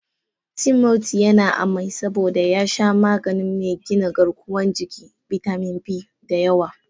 Timothy yana amai saboda ya sha magani mai gina garkuwan jiki/bitamin B, da yawa.